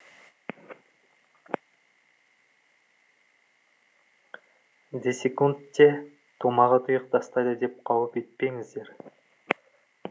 десек те томаға тұйық тастайды деп қауіп етпеңіздер